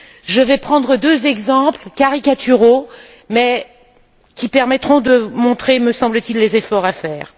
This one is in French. Je vais prendre deux exemples caricaturaux mais qui permettront de montrer, me semble t il, les efforts à faire.